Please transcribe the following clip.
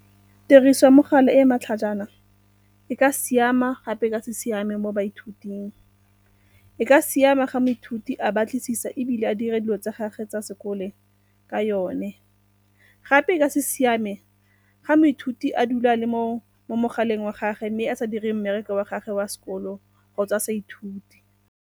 Tiriso ya mogala e e matlhajana e ka siama gape e ka se siame mo baithuting. E ka siama ga moithuti a batlisisa ebile a dira dilo tse gage tsa sekole ka yone. Gape e ka se siame ga moithuti a dula a le mo mogaleng wa gagwe mme a sa dire mmereko wa gagwe wa sekolo kgotsa a sa ithute.